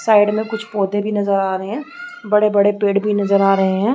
Side में कुछ पौधे भी नजर आ रहें हैं बड़े बड़े पेड़ भी नजर आ रहें हैं।